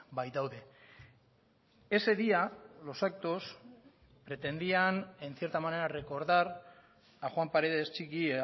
baitaude ese día los actos pretendían en cierta manera recordar a juan paredes txiki